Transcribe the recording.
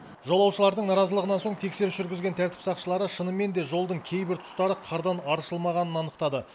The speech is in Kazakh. жолаушылардың наразылығынан соң тексеріс жүргізген тәртіп сақшылары шынымен де жолдың кейбір тұстары қардан аршылмағанын анықтады